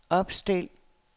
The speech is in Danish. opstil